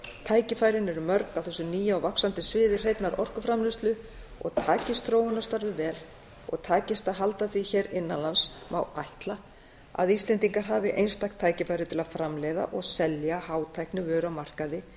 tækifærin eru mörg á þessu nýja og vaxandi sviði hreinnar orkuframleiðslu takist þróunarstarfið vel og takist að halda því hér innan lands má ætla að íslendingar hafi einstakt tækifæri til að framleiða og selja hátæknivöru á markaði